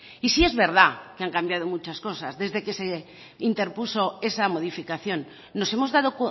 y sí es verdad que han cambiado muchas cosas desde que se interpuso esa modificación nos hemos dado